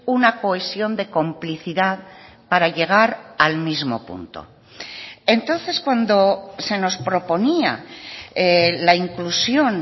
una cohesión de complicidad para llegar al mismo punto entonces cuando se nos proponía la inclusión